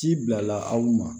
Ci bila aw ma